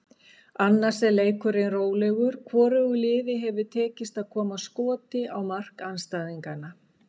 Annars er leikurinn rólegur, hvorugu liði hefur tekist að koma skoti á mark andstæðinganna.